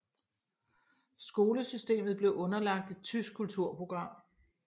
Skolesystemet blev underlagt et tysk kulturprogram